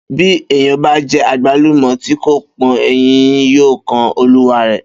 Bí èèyàn bá je̩ àgbálùmò̩ tí kò pó̩n, eyín yóò kan olúwarè̩